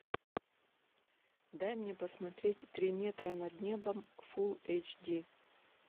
дай мне посмотреть три метра над небом фулл эйч ди